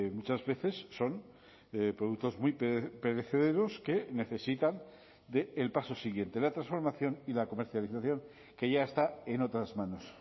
muchas veces son productos muy perecederos que necesitan del paso siguiente la transformación y la comercialización que ya está en otras manos